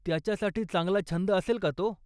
त्याच्यासाठी चांगला छंद असेल का तो?